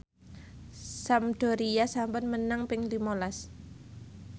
Sampdoria sampun menang ping lima las